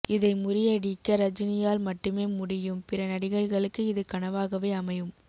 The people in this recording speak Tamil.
இதை முறியடிக்க ரஜினி யால் மட்டுமே முடியூம் பிற நடிகர்களுக்கு இது கனவாகவே அமையும்